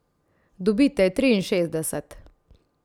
Dobite triinšestdeset.